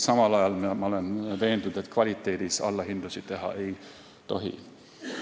Samal ajal olen veendunud, et kvaliteedis allahindlusi teha ei tohi.